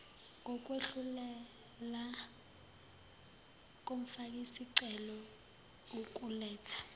ngokwehlulela komfakisicelo ukuletha